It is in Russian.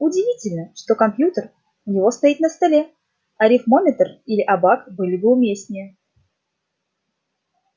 удивительно что компьютер у него стоит на столе арифмометр или абак были бы уместнее